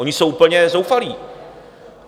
Oni jsou úplně zoufalí.